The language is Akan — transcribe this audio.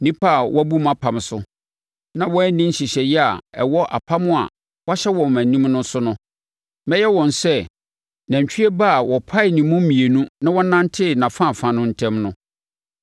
Nnipa a wɔabu mʼapam so, na wɔanni nhyehyɛeɛ a ɛwɔ apam a wɔayɛ wɔ mʼanim no so no, mɛyɛ wɔn sɛ nantwie ba a wɔpaee ne mu mmienu na wɔnantee nʼafaafa no ntam no.